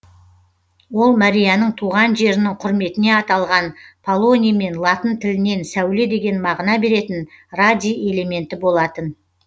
ол марияның туған жерінің құрметіне аталған полоний мен латын тілінен сәуле деген мағына беретін радий элементі болатын